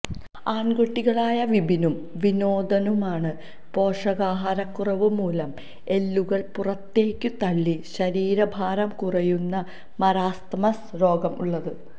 ആണ്കുട്ടികളായ വിപിനും വിനോദിനുമാണ് പോഷകാഹാരക്കുറവുമൂലം എല്ലുകള് പുറത്തേക്കു തള്ളി ശരീരഭാരംകുറയുന്ന മരാസ്മസ് രോഗം ഉള്ളത്